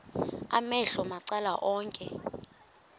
amehlo macala onke